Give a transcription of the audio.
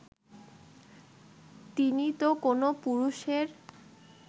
তিনি তো কোনও পুরুষের